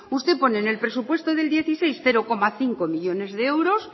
usted pone en el presupuesto del dos mil dieciséis cero coma cinco millónes de euros